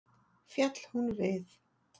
Féll hún við.